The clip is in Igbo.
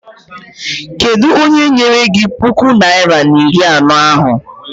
Kedụ onye nyere gị puku naịra na iri anọ ahụ?